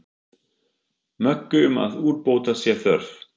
Möggu um að úrbóta sé þörf.